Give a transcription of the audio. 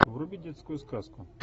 вруби детскую сказку